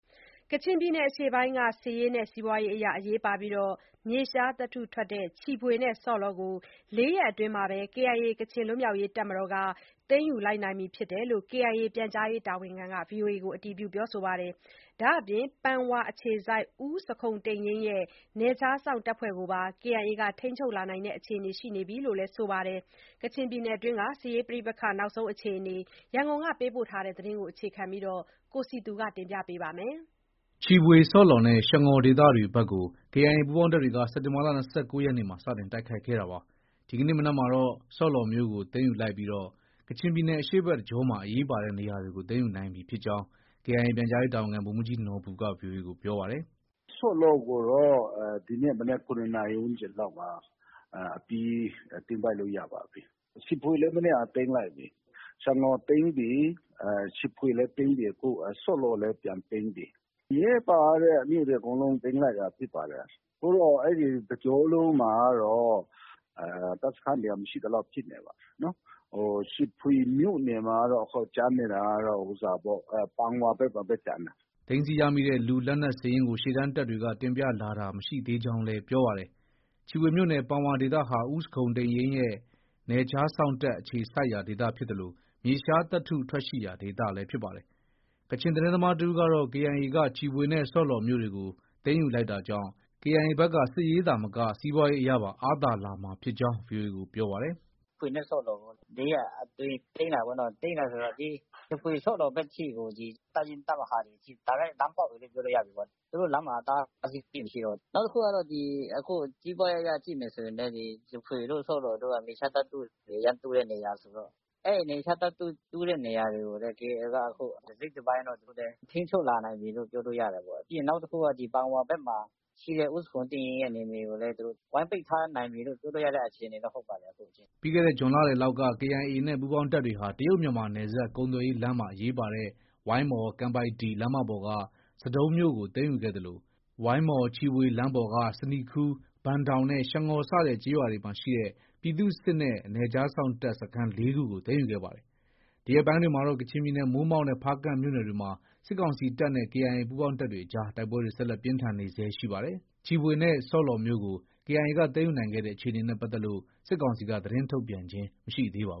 ကချင်ပြည်နယ်အရှေ့ပိုင်းက စစ်ရေးနဲ့ စီးပွားရေးအရ အရေးပါပြီး မြေရှားသတ္တုထွက်တဲ့ ချီဖွေနဲ့ ဆော့လော် ကို ၄ ရက်အတွင်း KIA ကချင်လွတ်လပ်ရေးတပ်မတော် က သိမ်းယူလိုက်ပြီဖြစ်တယ်လို့ KIA ပြန်ကြားရေးတာဝန်ခံက ပြောပါတယ်။ ဒါအပြင် ပန်ဝါအခြေစိုက် ဦးဇခုံတိန်ယိန်းရဲ့ နယ်ခြားစောင့်တပ်ဖွဲ့တွေကိုပါ KIA က ထိန်းချုပ်လာနိုင်တဲ့အခြေအနေ ရှိနေပြီလို့လည်း ဆိုပါတယ်။ ကချင်ပြည်နယ်က စစ်ရေးတင်းမာမှု နောက်ဆုံးအခြေအနေနဲ့ ပတ်သက်လို့ ရန်ကုန်က သတင်းပေးပို့ ထားတာကို တင်ပြထားပါတယ်။ ချီဖွေ၊ ဆော့လော်နဲ့ ရှငေါ်ဒေသဘက်တွေကို KIA ပူးပေါင်းတပ်တွေက စက်တင်ဘာလ ၂၉ရက်နေ့မှာ စတင် တိုက်ခိုက်ခဲ့တာပါ။ ဒီကနေ့မနက်မှာတော့ ဆော့လော်မြို့ကို သိမ်းယူလိုက်ပြီး ကချင်ပြည်နယ်အရှေ့ဘက်တကြောမှာ အရေးပါတဲ့ နေရာတွေကို သိမ်းယူနိုင်ပြီဖြစ်ကြောင်း KIA ပြန်ကြားရေးတာဝန်ခံ ဗိုလ်မှုးကြီးနော်ဘူက ဗွီအိုအေ ကို ပြောပါ တယ်။ “ဆော့လော်ကိုတော့ ဒီကနေ့မနက် ၇နာရီ ဝန်းကျင်လောက်မှာ အပြီး သိမ်းပိုက်လို့ ရပါပြီ။ ချီဖွေလည်း မနေ့က သိမ်းလိုက်ပြီ။ ရှငေါ်သိမ်းပြီ၊ချီဖွေသိမ်းပြီ၊ အခု ဆော့လော်လည်း ပြန်သိမ်းပြီ။ အရေးပါတဲ့ မြို့တွေ အကုန်လုံးသိမ်းလိုက်တာဖြစ်ပါတယ်။ အခုတော့ အဲဒီတကြောလုံးမှာကတော့ တပ်စခန်းတွေက မရှိသလောက် ဖြစ်နေပါတယ်။ ချီဖွေမြို့နယ်မှာကတော့ ကျန်နေတာကတော့ ပန်ဝါဘက်မှာပဲ ကျန်တယ်။” သိမ်းဆည်းရမိတဲ့ လူ၊လက်နက်စာရင်းကို ရှေ့တန်းတပ်တွေက တင်ပြလာတာမရှိသေးကြောင်းလည်း ပြောပါတယ်။ ချီဖွေမြို့နယ် ပန်ဝါဒေသဟာ ဦးဇခုန်တိန်ယိန်းရဲ့ နယ်ခြားစောင့်တပ် အခြေစိုက်ရာဒေသ ဖြစ်သလို မြေရှားသတ္တု ထွက်ရှိရာဒေသလည်း ဖြစ်ပါတယ်။ ကချင်သတင်းသမားတဦးကတော့ KIA က ချီဖွေနဲ့ ဆော့လော်မြို့တွေကို သိမ်းယူလိုက်တာကြောင့် KIA ဘက်က စစ်ရေးသာမက စီးပွားရေးအရပါ အားသာလာမှာဖြစ်ကြောင်း ဗွီအိုအေကို ပြောပါတယ်။ “ချီဖွေနဲ့ ဆော့လော်ကို ၄ ရက်အတွင်း သိမ်းတာပေါ့နော်။ သိမ်းတယ်ဆိုတော့ ချီဖွေ၊ ဆော့လော်အထိ ကို ဒီ တပ်ရင်း၊ တပ်မဟာတွေ အထိ တိုက်ရိုက် လမ်းပေါက်ပြီလို့ ပြောလို့ ရပြီပေါ့။ သူတို့ လမ်းမှာ အတားအဆီး သိပ်မရှိတော့ဘူး။ နောက်တခုက ဒီ စီးပွားရေးအရ ကြည့်မယ်ဆိုရင်လည်း ချီဖွေနဲ့ ဆော့လော်တို့ က မြေရှားသတ္တုတွေ အရမ်း တူးတဲ့နေရာဆိုတော့ အဲဒီမြေရှာ သတ္တုတူးတဲ့နေရာတွေကိုလည်း KIA က တစိတ်တပိုင်းတော့ ထိန်းချုပ်လာနိုင်ပြီလို့ ပြောလို့ ရတာပေါ့။ ပြီးရင် နောက်တခုက ဒီ ပန်ဝါဘက်မှာ ရှိတဲ့ဦးဇခုန်တိန်ယိန်း ရဲ့ နယ်မြေကိုလည်း သူတို့ ဝိုင်းပိတ်ထားနိုင်ပြီလို့ ပြောလို့ရတဲ့အခြေ အနေတော့ ဟုတ်ပါတယ်။” ပြီးခဲ့တဲ့ ဇွန်လလယ်လောက်က KIA နဲ့ ပူးပေါင်းတပ်တွေဟာ တရုတ်-မြန်မာနယ်စပ်ကုန်သွယ်ရေးလမ်းမှာ အရေးပါတဲ့ ဝိုင်းမော်-ကန်ပိုက်တီလမ်းမပေါ်က ဆဒုံးမြို့ကို သိမ်းယူခဲ့သလို ဝိုင်းမော် - ချီဖွေလမ်းပေါ်က ဆနီခူး၊ ဘန်ဒေါင်နဲ့ ရှငေါ် စတဲ့ကျေးရွာရှိ ပြည်သူ့စစ်နဲ့ နယ်ခြားစောင့်တပ်စခန်း ၄ ခုကို သိမ်းယူခဲ့ပါတယ်။ ဒီရက်ပိုင်းတွေမှာတော့ ကချင်ပြည်နယ် မိုးမောက်နဲ့ ဖားကန့်မြို့နယ်တွေမှာ စစ်ကောင်စီတပ်နဲ့ KIA ပူးပေါင်းတပ်တွေ အကြား တိုက်ပွဲတွေ ဆက်လက် ပြင်းထန်နေဆဲ ရှိပါတယ်။ ချီဖွေနဲ့ ဆော့လော်ကို KIA ကသိမ်းယူနိုင်ခဲ့တဲ့ အခြေအနေနဲ့ ပတ်သက်လို့ စစ်ကောင်စီက သတင်းထုတ်ပြန်ခြင်းမရှိသေးပါဘ